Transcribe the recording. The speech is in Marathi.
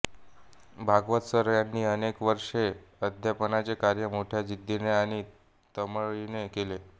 भागवत सर यांनी अनेक वर्षे अध्यापनाचे कार्य मोठ्या जिद्दीने आणि तळमळीने केले